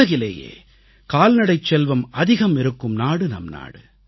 உலகிலேயே கால்நடைச் செல்வம் அதிகம் இருக்கும் நாடு நம் நாடு